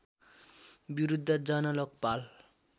विरुद्ध जन लोकपाल